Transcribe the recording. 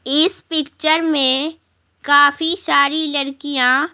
इस पिक्चर में काफी सारी लड़कियां--